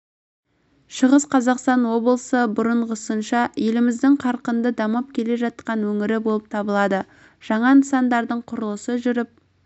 шығыс қазақстан облысы бұрынғысынша еліміздің қарқынды дамып келе жатқан өңірі болып табылады жаңа нысандардың құрылысы жүріп